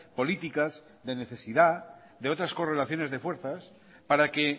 políticas de necesidad de otras correlaciones de fuerzas para que